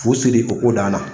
Fu siri o ko dan na